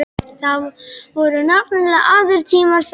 Það voru nefnilega aðrir tímar þá.